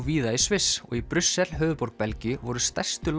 víða í Sviss og í Brussel höfuðborg Belgíu voru stærstu